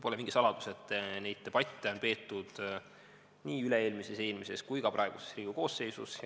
Pole mingi saladus, et neid debatte on peetud nii üle-eelmises, eelmises kui ka praeguses Riigikogu koosseisus.